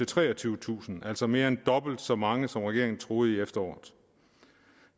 treogtyvetusind altså mere end dobbelt så mange som regeringen troede i efteråret